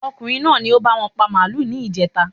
Ọmọkùnrin náà ni o báwọn pa màálù ní ìjèta